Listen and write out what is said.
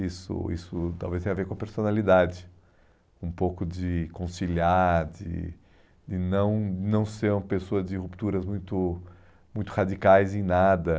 Isso isso talvez tenha a ver com a personalidade, um pouco de conciliar, de de não não ser uma pessoa de rupturas muito muito radicais em nada.